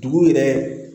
Dugu yɛrɛ